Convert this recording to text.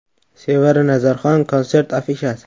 Sevara Nazarxon konsert afishasi.